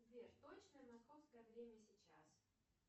сбер точное московское время сейчас